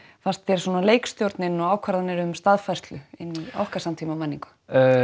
fannst þér leikstjórnin og ákvarðanir um staðfærslu inn í okkar samtímamenningu